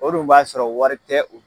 O dun b'a sɔrɔ wari tɛ u bolo!